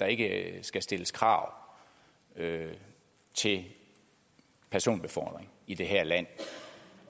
der ikke skal stilles krav til personbefordring i det her land